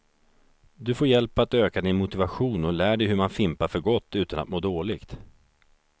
Du får hjälp att öka din motivation och lär dig hur man fimpar för gott utan att må dåligt.